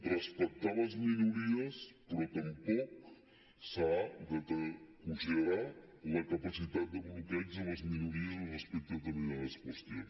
respectar les minories però tampoc s’ha de considerar la capacitat de bloqueig de les minories respecte a determinades qüestions